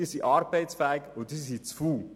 Diese sind jung, arbeitsfähig und faul.